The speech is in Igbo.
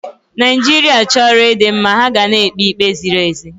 Naijiria chọrọ ịdị mma, ha ga na-ekpe ikpe ziri ezi.